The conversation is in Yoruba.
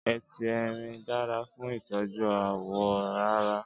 Éti èrin dàrâ fún itòjú áwò àrá